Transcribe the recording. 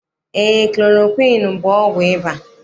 Eé, klorokwiini bụ ọgwụ ịba.